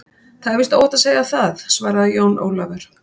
Það er víst óhætt að segja það, svaraði Jón Ólafur.